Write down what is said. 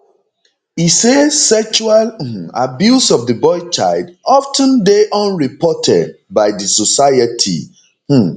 e say sexual um abuse of di boy child of ten dey unreported by di society um